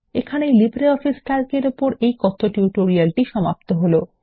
এখানেই LibreOffice Calc এর উপর এই কথ্য টিউটোরিয়ালটি সমাপ্ত হল